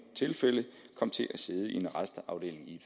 tilfælde kom til at sidde i en arrestafdeling i